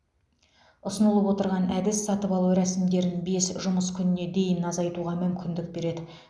ұсынылып отырған әдіс сатып алу рәсімдерін бес жұмыс күніне дейін азайтуға мүмкіндік береді